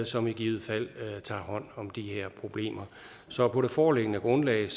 som i givet fald tager hånd om de her problemer så på det foreliggende grundlag